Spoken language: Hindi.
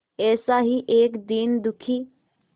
ऐसा ही एक दीन दुखी